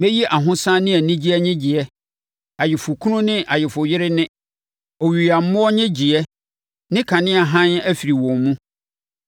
Mɛyi ahosane ne anigyeɛ nnyegyeɛ, ayeforɔkunu ne ayeforɔyere nne, oyuyammoɔ nnyegyeeɛ ne kanea hann afiri wɔn mu.